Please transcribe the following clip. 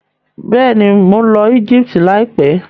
Bẹ́ẹ̀ni, mo ń lọ Egypt láìpẹ́.